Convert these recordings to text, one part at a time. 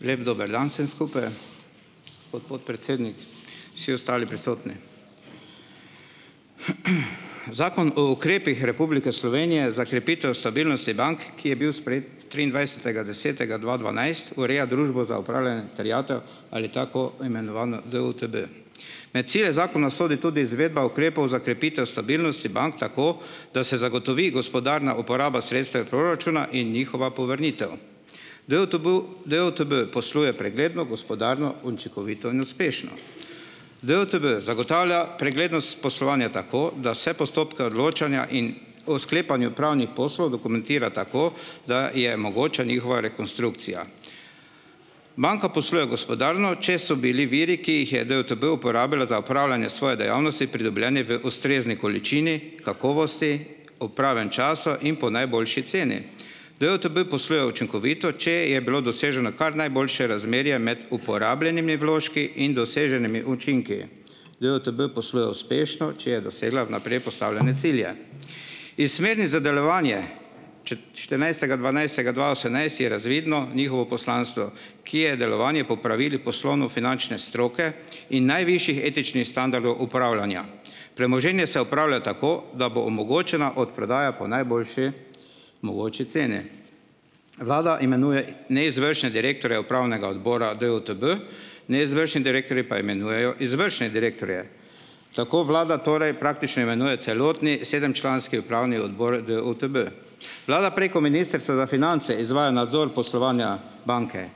Lep dober dan vsem skupaj, gospod predsednik, vsi ostali prisotni, Zakon o ukrepih Republike Slovenije za krepitev stabilnosti bank, ki je bil sprejet triindvajsetega desetega dva dvanajst ureja Družbo za upravljanje terjatev ali tako imenovano DUTB, med cilje zakona sodi tudi izvedba ukrepov za krepitev stabilnosti bank, tako da se zagotovi gospodarna uporaba sredstev proračuna in njihova povrnitev. DUTB, DUTB posluje pregledno gospodarno učinkovito in uspešno, DUTB zagotavlja preglednost poslovanja, tako da vse postopke odločanja in o sklepanju pravnih poslov dokumentira tako, da je mogoča njihova rekonstrukcija, banka posluje gospodarno, če so bili viri, ki jih je DUTB uporabljal za upravljanje svoje dejavnosti, pridobljeni v ustrezni količini, kakovosti, ob pravem času in po najboljši ceni, DUTB posluje učinkovito, če je bilo doseženo kar najboljše razmerje med uporabljenimi vložki in doseženimi učinki, DUTB posluje uspešno, če je dosegla vnaprej postavljene cilje iz smernic za delovanje. štirinajstega dvanajstega dva osemnajst je razvidno njihovo poslanstvo, ki je delovanje po pravilih poslovno-finančne stroke in najvišji etični standard upravljanja, premoženje se upravlja tako, da bo omogočena odprodaja po najboljši mogoči ceni, vlada imenuje neizvršne direktorje upravnega odbora DUTB, neizvršni direktorji pa imenujejo izvršne direktorje, tako vlada torej praktično imenuje celotni sedemčlanski upravni odbor DUTB, vlada preko ministrstva za finance izvaja nadzor poslovanja banke,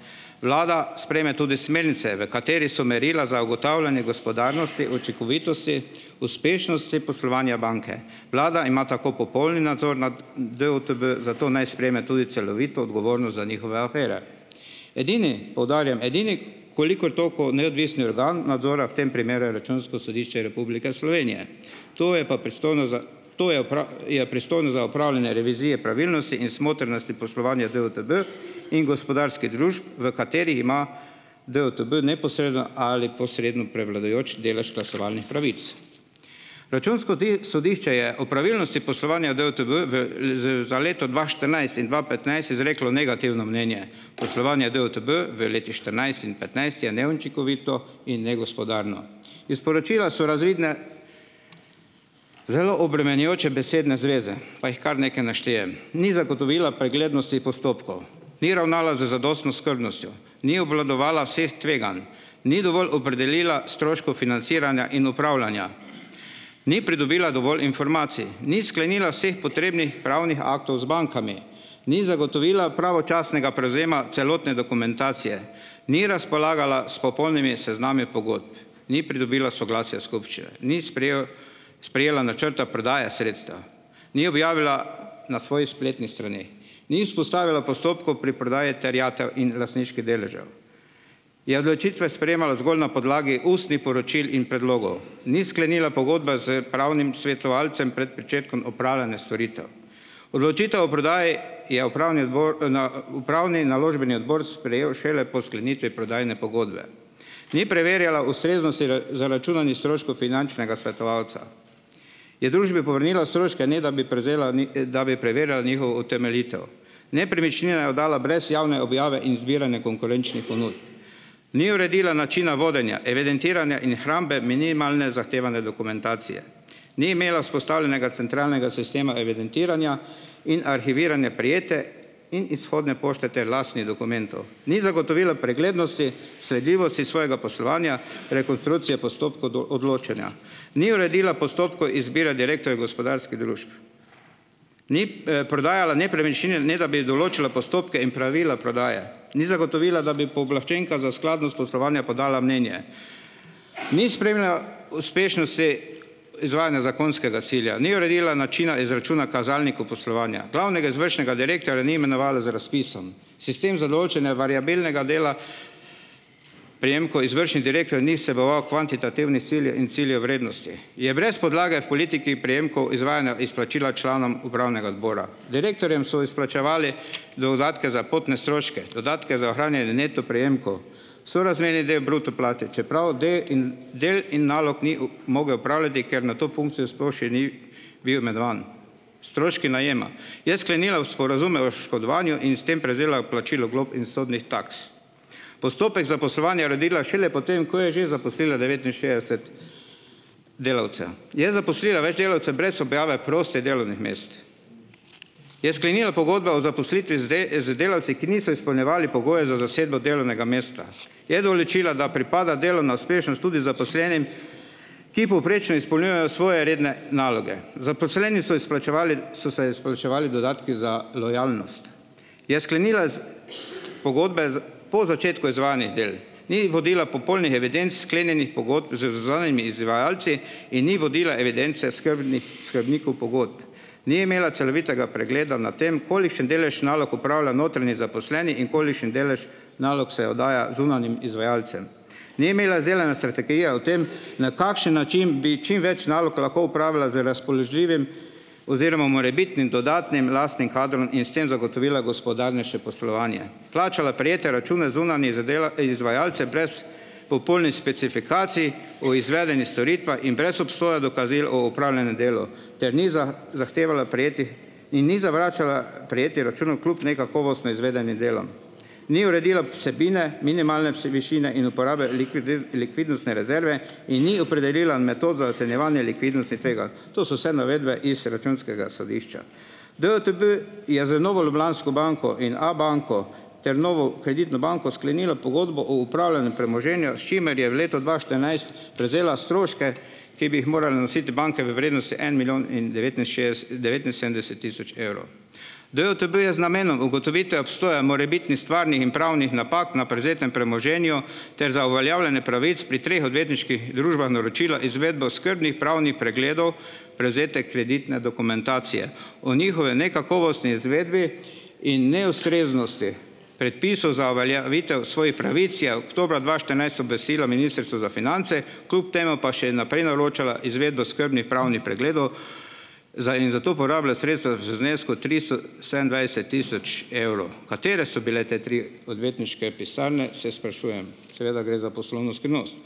vlada sprejme tudi smernice, v kateri so merila za ugotavljanje gospodarnosti, učinkovitosti uspešnosti poslovanja banke, vlada ima tako popolni nadzor nad DUTB zato naj sprejme tudi celovito odgovornost za njihove afere. Edini poudarjam, edini koliko toliko neodvisni organ nadzora v tem primeru je računsko sodišče Republike Slovenije, to je pa pristojno za, to je je pristojno za upravljanje revizije pravilnosti in smotrnosti poslovanja DUTB in gospodarskih družb, v kateri ima DUTB neposredno ali posredno prevladujoči delež glasovalnih pravic, računsko sodišče je o pravilnosti poslovanja DUTB v leto dva štirinajst in dva petnajst izreklo negativno mnenje, poslovanja DUTB v letih štirinajst in petnajst je neučinkovito in negospodarno, iz poročila so razvidne zelo obremenjujoče besedne zveze, pa jih kar nekaj naštejem, ni zagotovila preglednosti postopkov, ni ravnala z zadostno skrbnostjo, ni obvladovala vseh tveganj, ni dovolj opredelila stroškov financiranja in upravljanja, ni pridobila dovolj informacij, ni sklenila vseh potrebnih pravnih aktov z bankami, ni zagotovila pravočasnega prevzema celotne dokumentacije, ni razpolagala s popolnimi seznami pogodb, ni pridobila soglasja skupščine, ni sprejel, sprejela načrta prodaje sredstev, ni objavila na svoji spletni strani, ni vzpostavila postopkov pri prodaji terjatev in lastniških deležev, je odločitve sprejemala zgolj na podlagi ustnih poročil in predlogov, ni sklenila pogodbe s pravnim svetovalcem pred pričetkom upravljanja storitev, odločitev o prodaji je upravni odbor upravni naložbeni odbor sprejel šele po sklenitvi prodajne pogodbe, ni preverjala ustreznosti zaračunanih stroškov finančnega svetovalca, je družbi povrnila stroške, ne da bi prevzela da bi preverjala njihovo utemeljitev, nepremičnine je oddala brez javne objave in zbiranja konkurenčnih ponudb, ni uredila načina vodenja evidentiranja in hrambe minimalne zahtevane dokumentacije, ni imela vzpostavljenega centralnega sistema evidentiranja in arhiviranja prejete in izhodne pošte ter lastnih dokumentov, ni zagotovila preglednosti, sledljivosti svojega poslovanja, rekonstrukcije postopkov do odločanja, ni uredila postopkov izbire direktorja gospodarskih družb, ni, prodajala nepremičnine, ne da bi določila postopke in pravila prodaje, ni zagotovila, da bi pooblaščenka za skladnost poslovanja podala mnenje, ni spremljal uspešnosti izvajanja zakonskega cilja, ni uredila načina izračuna kazalnikov poslovanja glavnega izvršnega direktorja, ni imenovala z razpisom, sistem za določanje variabilnega dela prejemkov izvršnih direktorjev ni vseboval kvantitativnih ciljev in ciljev vrednosti, je brez podlage v politiki prejemkov izvajanja izplačila članom upravnega odbora, direktorjem so izplačevali dodatke za potne stroške, dodatke za ohranjanje neto prejemkov, sorazmerni del bruto plače, čeprav del in nalog ni mogel opravljati, ker na to funkcijo sploh še ni bil imenovan, stroški najema, je sklenila sporazume o škodovanju in s tem prevzela plačilo glob in sodnih taks, postopek za poslovanje uredila šele po tem, ko je že zaposlila devetinšestdeset delavcev, je zaposlila več delavcev brez objave prostih delovnih mest, je sklenila pogodbe o zaposlitvi z z delavci, ki niso izpolnjevali pogojev za dosego delovnega mesta, je določila, da pripada delovna uspešnost tudi zaposlenim, ki povprečno izpolnjujejo svoje redne naloge, zaposleni so izplačevali, so si izplačevali dodatke za lojalnost, je sklenila pogodbe po začetku izvajanih del, ni vodila popolnih evidenc sklenjenih pogodb z zunanjimi izvajalci in ni vodila evidence skrbnikov pogodb, ni imela celovitega pregleda nad tem, kolikšen delež nalog opravlja notranji zaposleni in kolikšen delež nalog se oddaja zunanjim izvajalcem, ni imela izdelane strategije o tem, na kakšen način bi čim več nalog lahko opravila z razpoložljivim oziroma morebitnim dodatnim lastnim kadrom in s tem zagotovila gospodarnejše poslovanje, plačala prejete račune zunanjih izvajalcem brez popolnih specifikacij o izvedenih storitvah in brez obstoja dokazil o opravljenem delu ter ni zahtevala prejetih in ni zavračala prejetih računov kljub nekakovostno izvedenim delom, ni uredila vsebine minimalne vsevišine in uporabe likvidnostne rezerve in ni opredelila metod za ocenjevanje likvidnostnih tveganj. To so vse navedbe iz računskega sodišča. DUTB je z Novo Ljubljansko banko in Abanko ter Novo Kreditno banko sklenila pogodbo o upravljanju premoženja, s čimer je v letu dva štirinajst prevzela stroške, ki bi jih morale nositi banke v vrednosti en milijon in devetinšestdeset, devetinsedemdeset tisoč evrov, DUTB je z namenom ugotovitve obstoja morebitnim stvarnih in pravnih napak na prevzetem premoženju ter za uveljavljanje pravic pri treh odvetniških družbah naročila izvedbo skrbnih pravnih pregledov, prevzete kreditne dokumentacije o njihovi nekakovostni izvedbi in neustreznosti predpisov za uveljavitev svojih pravic je oktobra dva štirinajst obvestilo ministrstvo za finance, kljub temu pa še naprej naročala izvedbo skrbnih pravnih pregledov in za to porabila sredstva v znesku tristo sedemindvajset tisoč evrov. Katere so bile te tri odvetniške pisarne, se sprašujem, seveda gre za poslovno skrivnost,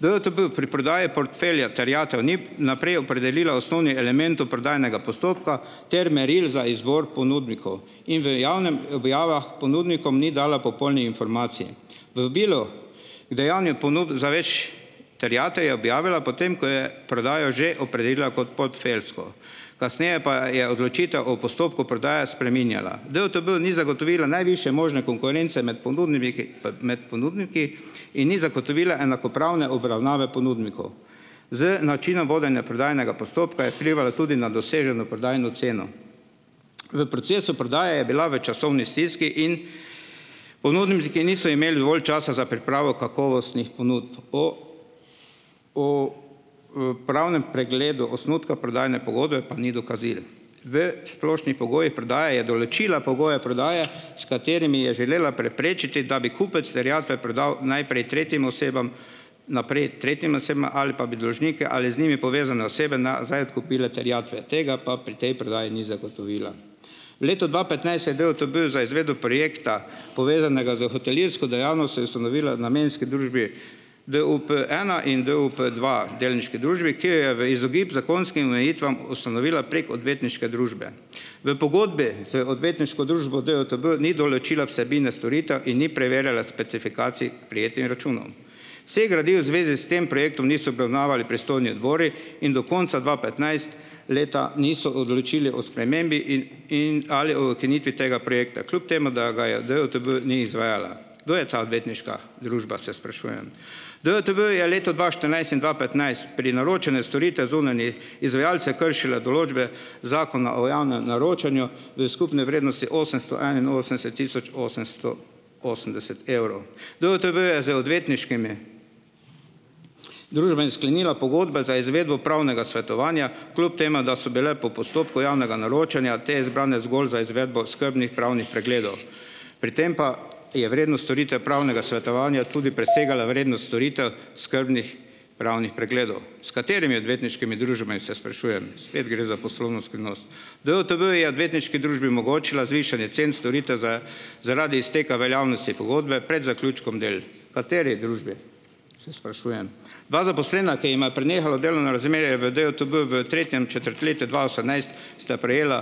DUTB pri prodaji portfelja terjatev ni naprej opredelila osnovnih elementov prodajnega postopka ter meril za izbor ponudnikov in v javnih objavah ponudnikom ni dala popolnih informacij, vabilo k dajanju ponudb za več terjatev je objavila potem, ko je prodajo že opredelila pod portfeljsko, kasneje pa je odločitev o postopku prodaje spreminjala, DUTB ni zagotovila najvišje možne konkurence med ponudniki in ni zagotovila enakopravne obravnave ponudnikov z načinom vodenja prodajnega postopka vplivalo tudi na doseženo prodajno ceno, v procesu prodaje je bila v časovni stiski in ponudniki niso imeli dovolj časa za pripravo kakovostnih ponudb pravnem pregledu osnutka prodajne pogodbe pa ni dokazil, v splošnih pogojih prodaje je določila pogoje prodaje, s katerimi je želela preprečiti, da bi kupec terjatve prodal najprej tretjim osebam, naprej tretjim osebam ali pa bi dolžnike ali z njimi povezane osebe nazaj odkupile terjatve tega pa pri tej predaji ni zagotovila, v letu dva petnajst je DUTB za izvedbo projekta, povezanega s hotelirsko dejavnostjo, ustanovila namenski družbi DUP ena in DUP dva delniški družbi, ki jo je v izogib zakonskim omejitvam ustanovila prek odvetniške družbe, v pogodbi z odvetniško družbo DUTB ni določila vsebine storitev in ni preverjala specifikacij prejetih računov, vseh gradiv v zvezi s tem projektom niso obravnavali pristojni odbori in do konca dva petnajst leta niso odločili o spremembi in ali o ukinitvi tega projekta, kljub temu da ga je DUTB ni izvajala. Kdo je ta odvetniška, družba se sprašujem. DUTB je v letu dva štirinajst in dva petnajst pri naročanju storitev zunanjih izvajalcev kršila določbe zakona o javnem naročanju v skupni vrednosti osemsto enainosemdeset tisoč osemsto osemdeset evrov Dutb je z odvetniškimi družbami sklenila pogodbe za izvedbo pravnega svetovanja, kljub temu da so bile po postopku javnega naročanja te izbrane zgolj za izvedbo skrbnih pravnih pregledov, pri tem pa je vrednost storitev pravnega svetovanja tudi presegala vrednost storitev skrbnih pravnih pregledov, s katerimi odvetniškimi družbami se sprašujem, spet gre za poslovno skrivnost, DUTB je odvetniški družbi omogočila zvišanje cen storitev zaradi izteka veljavnosti pogodbe pred zaključkom del, kateri družbi se sprašujem, dva zaposlena, ki jima je prenehalo delovno razmerje v DUTB v tretjem četrtletju dva osemnajst, sta prejela,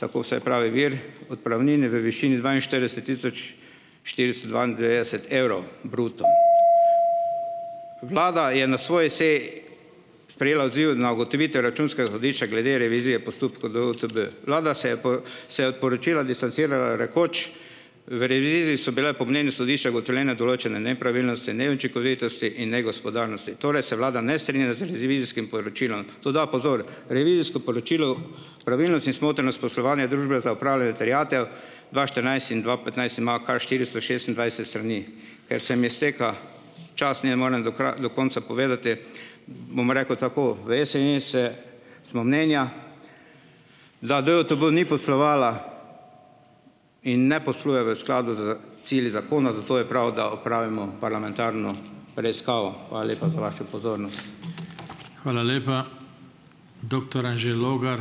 tako vsaj pravi vir, odpravnine v višini dvainštirideset tisoč štiristo dvaindevetdeset evrov bruto, vlada je na svoji seji sprejela odziv na ugotovitve računskega sodišča glede revizije postopkov DUTB, vlada se je po se je od poročila distancirala, rekoč: "... so bile po mnenju sodišča ugotovljene določene nepravilnosti neučinkovitosti in negospodarnosti, torej se vlada ne strinja z revizijskim poročilom." Toda pozor, revizijsko poročilo pravilnost in smotrnost poslovanja družbe za upravljanje terjatev dva štirinajst in dva petnajst imajo kar štiristo šestindvajset strani, ker se mi izteka čas, ne morem do konca povedati, bom rekel, tako v SNS smo mnenja, da DUTB ni poslovala in ne posluje v skladu s cilji zakona, zato je prav, da opravimo parlamentarno preiskavo. Hvala lepa za vašo pozornost. Hvala lepa. Doktor Anže Logar.